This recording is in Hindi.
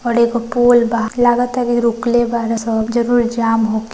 और एगो पुल बा लगता कही रुकलेबाला सा जरुर जाम हो--